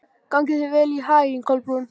Gangi þér allt í haginn, Kolbrún.